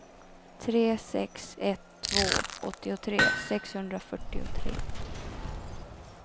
tre sex ett två åttiotre sexhundrafyrtiotre